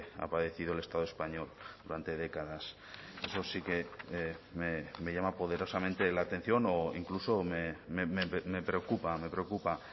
ha padecido el estado español durante décadas eso sí que me llama poderosamente la atención o incluso me preocupa me preocupa